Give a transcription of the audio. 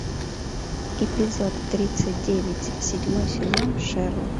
эпизод тридцать девять седьмой сезон шерлок